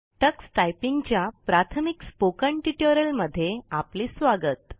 Tux typing च्या प्राथमिक spoken tutorial मध्ये आपले स्वागत